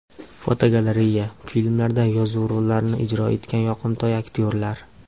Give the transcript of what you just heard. Fotogalereya: Filmlarda yovuz rollarni ijro etgan yoqimtoy aktyorlar.